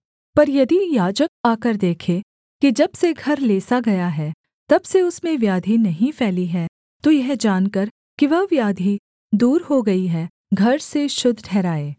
पर यदि याजक आकर देखे कि जब से घर लेसा गया है तब से उसमें व्याधि नहीं फैली है तो यह जानकर कि वह व्याधि दूर हो गई है घर को शुद्ध ठहराए